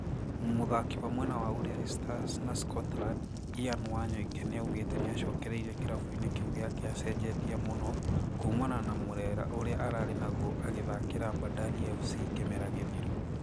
Mũthaki wa mwena wa Ulinzi Stars na Scotland, Ian Wanyoike nĩaugĩte nĩacokereirie kĩrabu-inĩ kĩu gĩake acenjetie mũno kũmana na mũrĩre ũrĩa arĩ naguo agĩthakĩra Bandari FC kĩmera gĩthiru